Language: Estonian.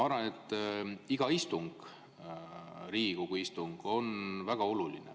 Iga Riigikogu istung on väga oluline.